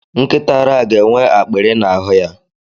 Nkịta ara a ga-enwe akpịrị n'ahụ ya